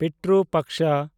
Pitru Paksha